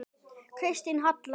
Kristín Halla.